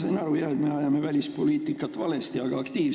Ma sain aru jah, et me ajame välispoliitikat aktiivselt, aga valesti.